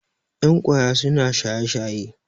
yan kwaya suna shaye-shaye